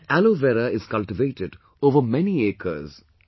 And Aloe Vera is cultivated over many acres